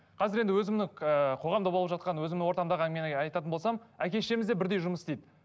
қазір енді өзімнің ыыы қоғамда болып жатқан өзімнің ортамдағы әңгімені айтатын болсам әке шешеміз де бірдей жұмыс істейді